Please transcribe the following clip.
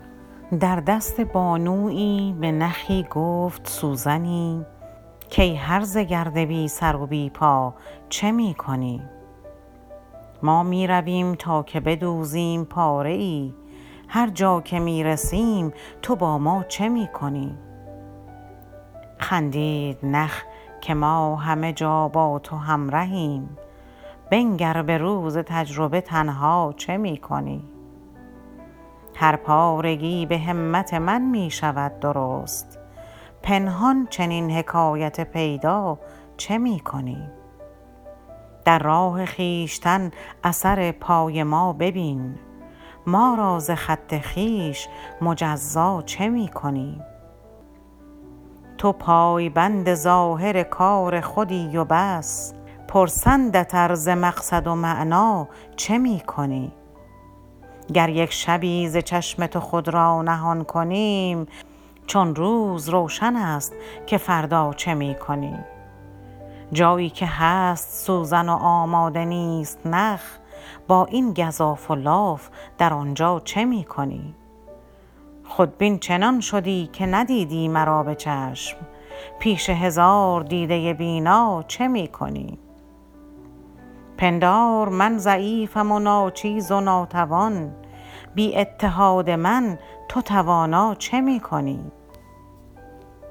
در دست بانویی به نخی گفت سوزنی کای هرزه گرد بی سر و بی پا چه می کنی ما میرویم تا که بدوزیم پاره ای هر جا که میرسیم تو با ما چه می کنی خندید نخ که ما همه جا با تو همرهیم بنگر به روز تجربه تنها چه می کنی هر پارگی به همت من میشود درست پنهان چنین حکایت پیدا چه می کنی در راه خویشتن اثر پای ما ببین ما را ز خط خویش مجزا چه می کنی تو پایبند ظاهر کار خودی و بس پرسندت ار ز مقصد و معنی چه می کنی گر یک شبی ز چشم تو خود را نهان کنیم چون روز روشن است که فردا چه می کنی جایی که هست سوزن و آماده نیست نخ با این گزاف و لاف در آنجا چه می کنی خودبین چنان شدی که ندیدی مرا بچشم پیش هزار دیده بینا چه می کنی پندار من ضعیفم و ناچیز و ناتوان بی اتحاد من تو توانا چه می کنی